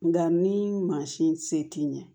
Nka ni mansin se t'i ye